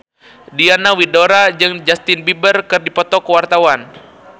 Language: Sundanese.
Diana Widoera jeung Justin Beiber keur dipoto ku wartawan